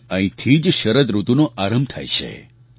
અને અહીંથી જ શરદ ઋતુનો આરંભ થાય છે